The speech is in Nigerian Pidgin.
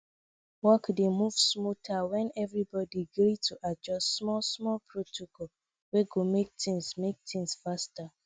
work dey move smoother when everybody gree to adjust smallsmall protocol wey go make things make things faster